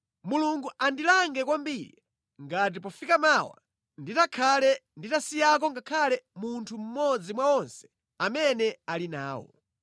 Mulungu andilange kwambiri ngati pofika mmawa nditakhale nditasiyako ngakhale munthu mmodzi mwa onse amene ali nawo.”